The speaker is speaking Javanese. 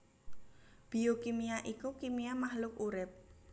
Biokimia iku kimia mahluk urip